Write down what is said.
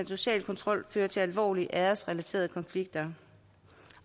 sociale kontrol føre til alvorlige æresrelaterede konflikter